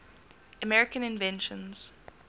american inventions